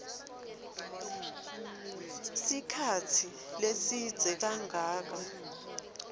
sikhatsi lesidze kangaka